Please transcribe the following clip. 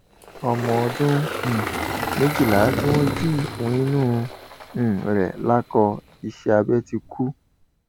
ọmọ ọdún um méjìlá tí wọn jí ìfun inú um rẹ lákọ iṣẹ abẹ ti kú